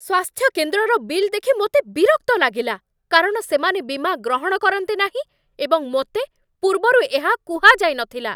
ସ୍ୱାସ୍ଥ୍ୟକେନ୍ଦ୍ରର bill ଦେଖି ମୋତେ ବିରକ୍ତ ଲାଗିଲା, କାରଣ ସେମାନେ ବୀମା ଗ୍ରହଣ କରନ୍ତି ନାହିଁ ଏବଂ ମୋତେ ପୂର୍ବରୁ ଏହା କୁହାଯାଇନଥିଲା।